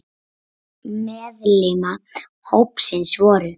Meðal meðlima hópsins voru